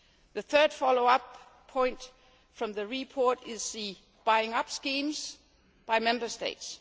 The third follow up point from the report concerns the buying up schemes by Member States.